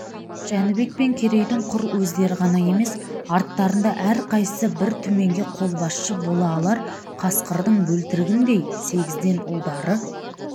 жәнібек пен керейдің құр өздері ғана емес арттарында әрқайсысы бір түменге қолбасшы бола алар қасқырдың бөлтірігіндей сегізден ұлдары